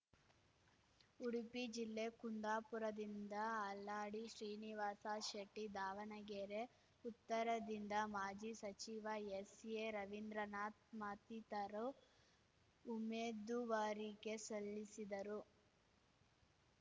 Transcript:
ಉಡುಪಿ ಜಿಲ್ಲೆ ಕುಂದಾಪುರದಿಂದ ಹಾಲಾಡಿ ಶ್ರೀನಿವಾಸ ಶೆಟ್ಟಿ ದಾವಣಗೆರೆ ಉತ್ತರದಿಂದ ಮಾಜಿ ಸಚಿವ ಎಸ್‌ಎರವಿಂದ್ರನಾಥ್‌ ಮತ್ತಿತರು ಉಮೇದುವಾರಿಕೆ ಸಲ್ಲಿಸಿದರು